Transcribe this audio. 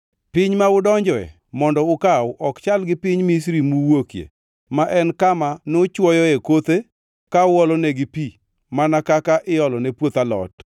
Piny ma udonjoe mondo ukaw ok chal gi piny Misri muwuokie, ma en kama nuchwoyoe kothe ka uolonegi pi mana kaka iolone puoth alot.